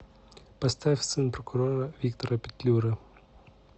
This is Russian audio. поставь сын прокурора виктора петлюры